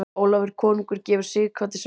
Ólafur konungur gefur Sighvati sverð.